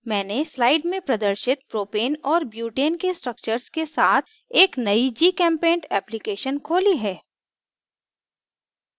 मैंने slide में प्रदर्शित propane और butane के structures के साथ एक नयी gchempaint application खोली है